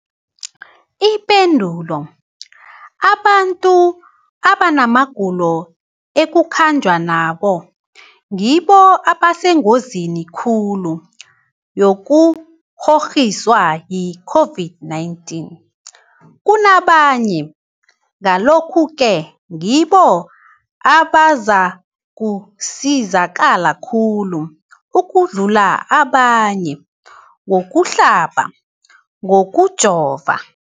Ipendulo, abantu abanamagulo ekukhanjwa nawo ngibo abasengozini khulu yokukghokghiswa yi-COVID-19 kunabanye, Ngalokhu-ke ngibo abazakusizakala khulu ukudlula abanye ngokuhlaba, ngokujova.